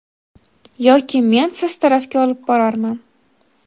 yoki men siz tarafga olib borarman.